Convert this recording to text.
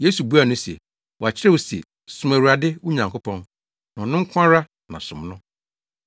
Yesu buaa no se, “Wɔakyerɛw se, ‘Som Awurade, wo Nyankopɔn, na ɔno nko ara na som no.’ ”